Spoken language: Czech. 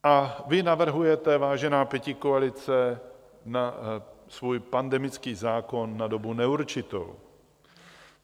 A vy navrhujete, vážená pětikoalice, svůj pandemický zákona na dobu neurčitou.